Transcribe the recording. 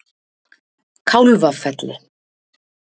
Kálfafelli